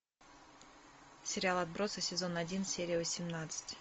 сериал отбросы сезон один серия восемнадцать